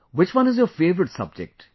Which one is your favourite subject